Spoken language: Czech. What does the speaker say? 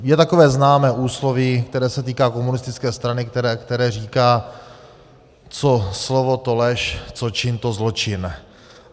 Je takové známé úsloví, které se týká komunistické strany, které říká: Co slovo, to lež, co čin, to zločin.